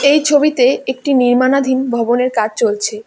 এই ছবিতে একটি নির্মাণাধীন ভবনের কাজ চলছে।